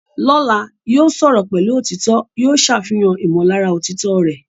Lọ́la, yóò sọ̀rọ̀ pẹ̀lú òtítọ́, yóò ṣàfihàn ìmọ̀lára òtítọ́ rẹ̀.